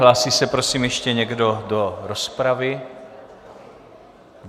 Hlásí se prosím ještě někdo do rozpravy?